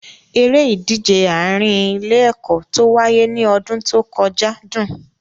Eré ìdíje àárín ilé-ẹ̀kọ́ tó wáyé ní ọdún tó kọjá dùn.